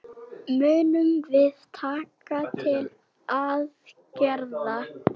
Munum við taka til aðgerða?